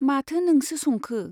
माथो नोंसो संखो ?